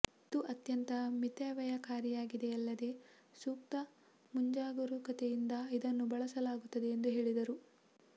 ಇದು ಅತ್ಯಂತ ಮಿತವ್ಯಯಕಾರಿಯಾಗಿದೆಯಲ್ಲದೆ ಸೂಕ್ತ ಮುಂಜಾಗರೂಕತೆಯಿಂದ ಇದನ್ನು ಬಳಸಲಾಗುತ್ತದೆ ಎಂದು ಹೇಳಿದರು